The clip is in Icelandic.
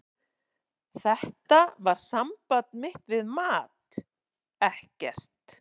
Þetta var samband mitt við mat, ekkert.